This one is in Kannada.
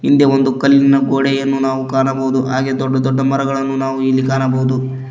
ಹಿಂದೆ ಒಂದು ಕಲ್ಲಿನ ಗೋಡೆಯನ್ನು ನಾವು ಕಾಣಬಹುದು ಹಾಗೆ ದೊಡ್ಡ ದೊಡ್ಡ ಮರಗಳನ್ನು ನಾವು ಇಲ್ಲಿ ಕಾಣಬಹುದು.